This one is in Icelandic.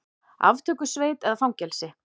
Aftökusveit eða fangelsi?